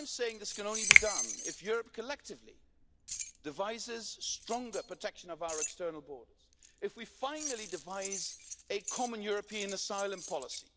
This can only be done if Europe collectively devises stronger protection of our external borders if we finally devise a common European asylum policy